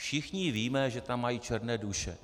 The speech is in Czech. Všichni víme, že tam mají černé duše.